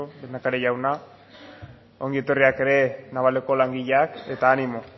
lehendakari jauna ongi etorriak ere navaleko langileak eta animo